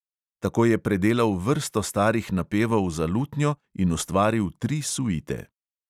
Tako je predelal vrsto starih napevov za lutnjo in ustvaril tri suite.